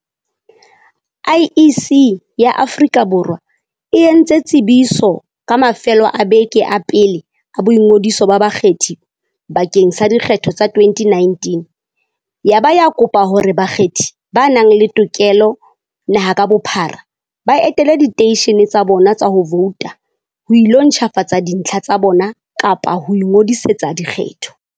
IEC ya Aforika Bor wa e e ntse tsebiso ka mafelo a beke a pele a boingodiso ba bakgethi bakeng sa dikgetho tsa 2019 yaba ya kopa hore bakgethi ba nang le tokelo naha ka bophara, ba etele diteishene tsa bona tsa ho vouta ho ilo ntjhafatsa dintlha tsa bona kapa ho ingodisetsa dikgetho.